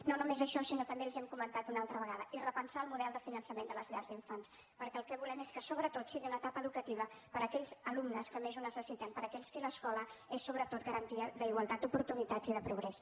no només això sinó també els hi hem comentat una altra vegada repensar el model de finançament de les llars d’infants perquè el que volem és que sobretot sigui una etapa educativa per a aquells alumnes que més ho necessiten per a aquells per a qui l’escola és sobretot d’igualtat d’oportunitats i de progrés